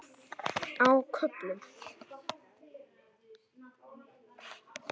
Á köflum.